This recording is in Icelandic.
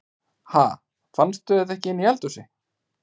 Ha! Fannstu þetta inni í eldhúsi?